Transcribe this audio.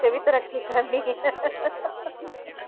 'ਚ ਵੀ ਤਰੱਕੀ ਕਰਨੀ ਹੈ